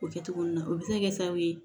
O kɛ cogo nun na o bɛ se ka kɛ sababu ye